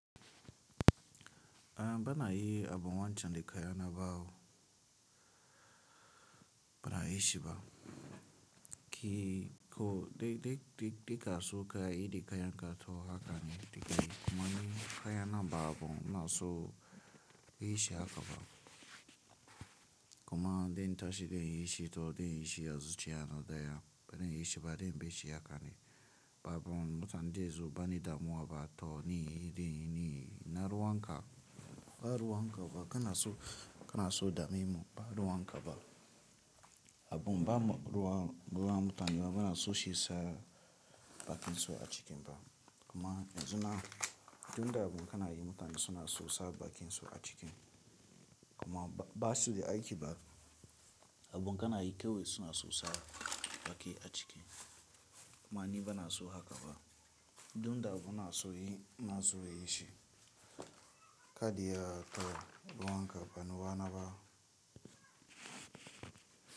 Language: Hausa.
Uhm, banayi abun wancan da kayana ba wo bana yi shi ba. Ki ko dai dai dai dai ka so ka yi da ka yanka toh naka ne dikani kuma ni ka yana ba abun na so yi shi haka ba. Kuma dai in tashi dai in yi shi toh dai na yi shi da zuciya na daya bana yi shi ba dai in bi shi haka ne. Babon mutanen dayazu bani damuwa ba toh ni dai ni na ruwan ka ba ruwan ka ba kana so kana so dame mu ba ruwan ka ba. Abun ba mu ruwa ruwa mutane ba bana so shi sa bakin su a ciki ba. Kuma yanzu na duk da abun kana yi mutane suna so sa bakin su a ciki kuma ba su da aiki ba. Abun kana yi kawai suna so sa baki a ciki kuma ni bana so haka ba. Duk da abun na so yi na so yi shi. Kaɗiya kawai ruwan ka bani bana ba.